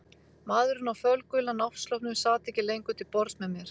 Maðurinn á fölgula náttsloppnum sat ekki lengur til borðs með mér.